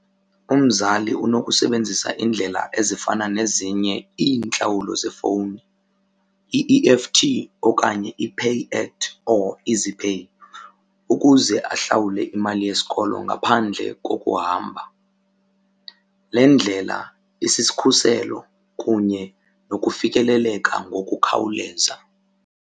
Umzali unokusebenzisa iindlela ezifana nezinye iintlawulo zefowuni, i-E_F_T okanye iPay at or EasyPay ukuze ahlawulwe imali yesikolo ngaphandle kokuhamba. Le ndlela isiskhuselo kunye nokufikeleleka ngokukhawuleza.